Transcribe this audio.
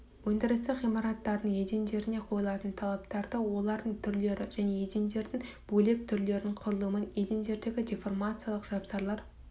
өндірістік ғимараттардың едендеріне қойылатын талаптарды олардың түрлері және едендердің бөлек түрлерінің құрылымын едендердегі деформациялық жапсарлар